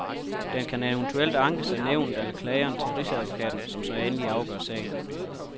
Den kan eventuelt ankes af nævnet eller klageren til rigsadvokaten, som så endeligt afgør sagen.